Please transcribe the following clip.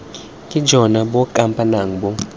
ke jone bo kampanang bo